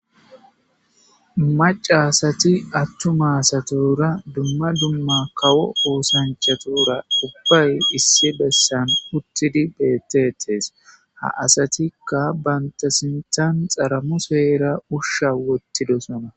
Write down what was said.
Maca asati attuma asatora dumma dumma kawo oosanchatora qubpay issi bessan uttidi beettetes ha asatikka bantasintan xaramu seera usha wottidosana.